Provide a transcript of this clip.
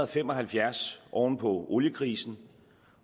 fem og halvfjerds oven på oliekrisen